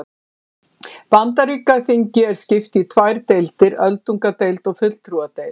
Bandaríkjaþingi er skipt í tvær deildir, öldungadeild og fulltrúadeild.